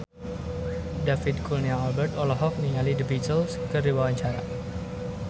David Kurnia Albert olohok ningali The Beatles keur diwawancara